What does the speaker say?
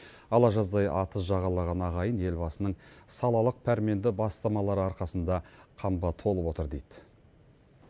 ала жаздай атыз жағалаған ағайын елбасының салалық пәрменді бастамалары арқасында қамба толып отыр дейді